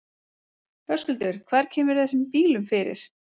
Höskuldur: Hvar kemurðu þessum bílum fyrir?